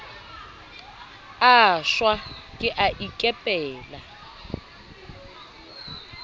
a shwa ke a ikepela